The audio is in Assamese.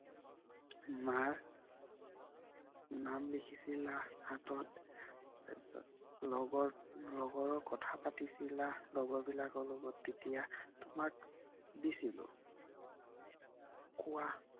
মাৰ নাম লিখিছিলা হাতত। তাৰ পিছত লগৰ লগৰ কথা পাতিছিলা লগৰ বিলাকৰ লগত তেতিয়া তোমাক দিছিলোঁ। কোৱা